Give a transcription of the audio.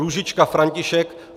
Růžička František